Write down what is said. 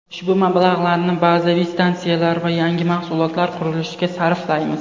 Ushbu mablag‘larni bazaviy stantsiyalar va yangi mahsulotlar qurilishiga sarflaymiz.